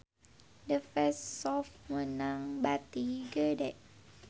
The Face Shop meunang bati gede